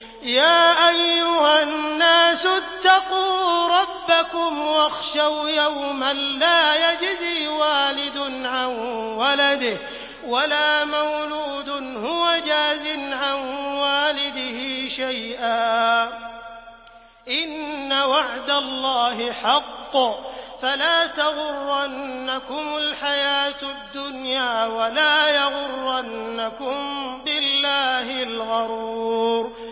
يَا أَيُّهَا النَّاسُ اتَّقُوا رَبَّكُمْ وَاخْشَوْا يَوْمًا لَّا يَجْزِي وَالِدٌ عَن وَلَدِهِ وَلَا مَوْلُودٌ هُوَ جَازٍ عَن وَالِدِهِ شَيْئًا ۚ إِنَّ وَعْدَ اللَّهِ حَقٌّ ۖ فَلَا تَغُرَّنَّكُمُ الْحَيَاةُ الدُّنْيَا وَلَا يَغُرَّنَّكُم بِاللَّهِ الْغَرُورُ